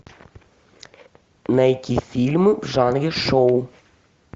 найти фильмы в жанре шоу